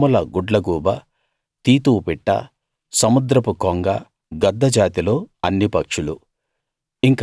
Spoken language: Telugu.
కొమ్ముల గుడ్లగూబ తీతువు పిట్ట సముద్రపు కొంగ గద్ద జాతిలో అన్ని పక్షులూ